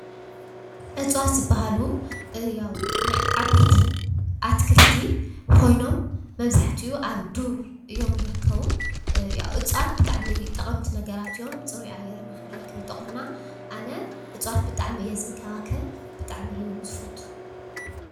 እፅዋት ዝበሃሉ ያው ናይ ዓበይቲ ኣትክልቲ ኮይኖም መብዛሕትኡ ኣብ ዱር እዮም ዝርከቡ እፅዋት ብጣዕሚ ጠቀምቲ ነገራት እዮም ፅሩይ ኣየር ንክንረክብ ይጠቅሙና ኣነ እፅዋት ብጣዕሚ እየ ዝንከባከብ ብጣዕሚ እየ ውን ዝፈቱ ።